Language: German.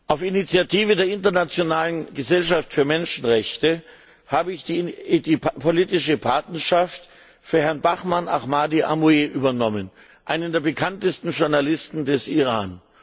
Auf Initiative der Internationalen Gesellschaft für Menschenrechte habe ich die politische Patenschaft für Herrn Bahman Ahmadi Amouie übernommen, einen der bekanntesten Journalisten des Iran.